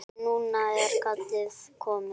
Núna er kallið komið.